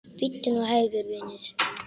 Bíddu nú hægur, vinur.